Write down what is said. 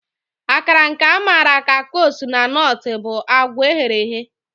Akara, nke a maara ka kose na Nortụ, bụ agwa eghere eghe.